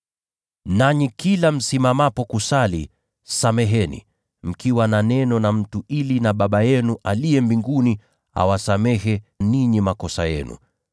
Nanyi kila msimamapo kusali, sameheni mkiwa na neno na mtu, ili naye Baba yenu aliye mbinguni awasamehe ninyi makosa yenu. [